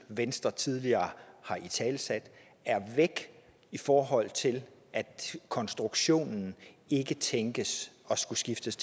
venstre tidligere har italesat er væk i forhold til at konstruktionen ikke tænkes at skulle skiftes